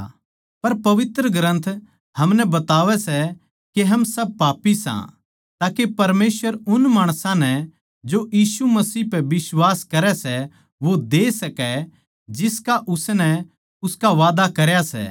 पर पवित्र ग्रन्थ हमनै बतावै सै के हम सब पापी सां ताके परमेसवर उन माणसां नै जो यीशु मसीह पे बिश्वास करै सै वो दे सकै जिसका उसनै उसका वादा करया सै